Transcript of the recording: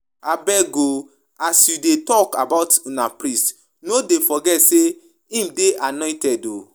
Abeg oo as you dey talk about una priest no dey forget say im dey annointed oo